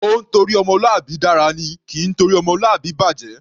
Ó ńtorí ọmọlúwàbí dára ni; kì í torí ọmọlúwàbí bàjẹ̀.